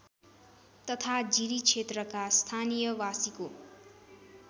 तथा जिरीक्षेत्रका स्थानीयबासीको